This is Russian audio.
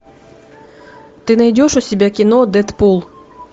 ты найдешь у себя кино дедпул